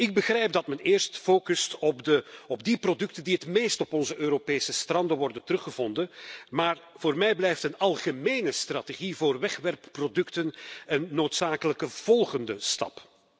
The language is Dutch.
Ik begrijp dat men eerst focust op die producten die het meest op onze Europese stranden worden teruggevonden, maar voor mij blijft een algemene strategie voor wegwerpproducten een noodzakelijke volgende stap.